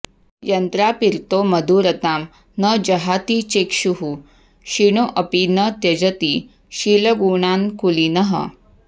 यन्त्रार्पितो मधुरतां न जहाति चेक्षुः क्षीणोऽपि न त्यजति शीलगुणान्कुलीनः